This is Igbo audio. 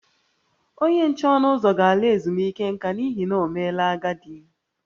Onye nche ọnụ ụzọ ga-ala ezumike nka n’ihi na o meela agadi